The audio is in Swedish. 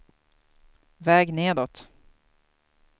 väg nedåt